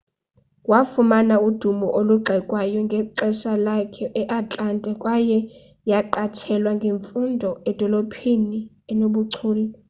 wafumana udumo olugxekwayo ngexesha lakhe e-atlanta kwaye yaqatshelwa ngemfundo edolophini enobuchule